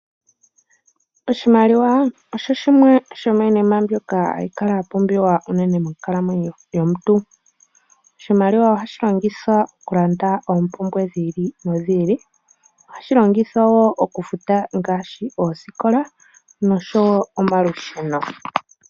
Oshimaliwa osho shimwe shomiinima mbyoka hayi kala yapumbiwa monkalamwenyo yomuntu . Oshimaliwa ohashi longithwa okulanda oompumbwe dhiili nodhili . Ohashi longithwa wo okufuta oosikola nosho wo omalusheno.